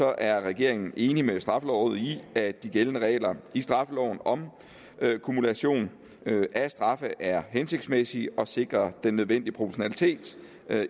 er regeringen enig med straffelovrådet i at de gældende regler i straffeloven om kumulation af straffe er hensigtsmæssige og sikrer den nødvendige proportionalitet